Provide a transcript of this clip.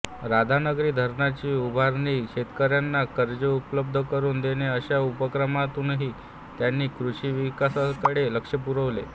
राधानगरी धरणाची उभारणी शेतकऱ्यांना कर्जे उपलब्ध करून देणे अशा उपक्रमांतूनही त्यांनी कृषिविकासाकडे लक्ष पुरवले